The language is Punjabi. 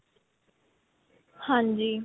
ਹਾਂਜੀ.